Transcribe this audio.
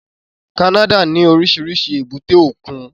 Canada ní oríṣiríṣi èbúté òkun